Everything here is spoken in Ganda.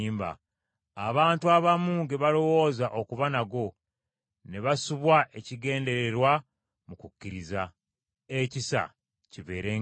abantu abamu ge balowooza okuba nago, ne basubwa ekigendererwa mu kukkiriza. Ekisa kibeerenga nammwe.